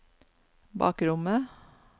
bakrommet